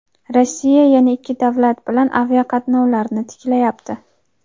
Rossiya yana ikki davlat bilan aviaqatnovlarni tiklayapti.